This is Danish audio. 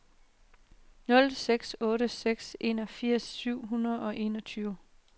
nul seks otte seks enogfirs syv hundrede og enogtyve